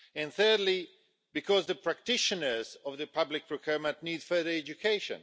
Thirdly, because the practitioners of public procurement need further education.